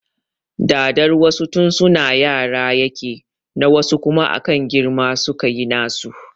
Dadar wasu tun suna yara yake na wasu kuma akan girma suka yi nasu